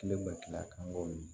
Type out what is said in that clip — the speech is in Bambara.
Kile ma kila an ka